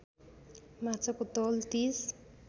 माछाको तौल ३०